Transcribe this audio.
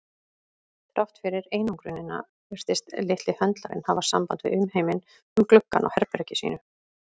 Þrátt fyrir einangrunina virtist litli höndlarinn hafa samband við umheiminn um gluggann á herbergi sínu.